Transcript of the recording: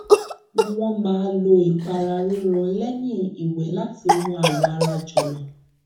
wọn máa lò ìpara rírọ lẹyìn ìwẹ láti mú awọ ara jọlọ